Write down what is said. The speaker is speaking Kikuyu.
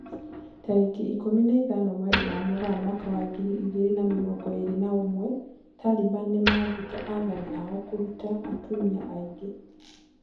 Tarĩki ikumi na ithano mweri-inĩ wa Mũgaa mwaka wa ngiri igĩrĩ na mĩrongo ĩrĩ na ũmwe, Taliban nĩmathĩte athani ao kũruta atumia aingĩ